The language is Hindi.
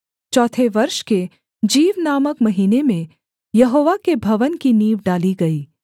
चौथे वर्ष के जीव नामक महीने में यहोवा के भवन की नींव डाली गई